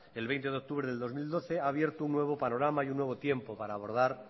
el veinte de octubre de dos mil doce ha abierto un nuevo panorama y un nuevo tiempo para abordar